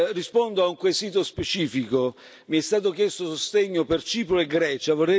Rispondo a un quesito specifico mi è stato chiesto sostegno per Cipro e Grecia.